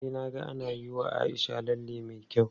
Na je na ga ana yiwa Aisha lalle me kyau.